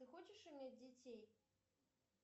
ты хочешь иметь детей